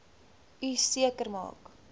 u seker maak